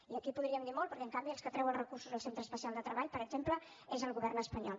i aquí podríem dir molt perquè en canvi el que treu recursos als centres especials de treball per exemple és el govern espanyol